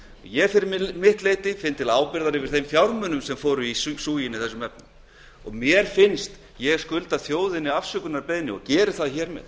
ég finn fyrir mitt leyti til ábyrgðar út af þeim fjármunum sem fóru í súginn mér finnst ég skulda þjóðinni afsökunarbeiðni og ég biðst hér með